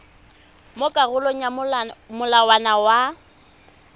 mo karolong ya molawana wa